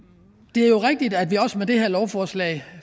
det er jo rigtigt at vi også med det her lovforslag